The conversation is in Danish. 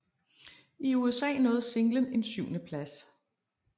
I USA nåede singlen en syvendeplads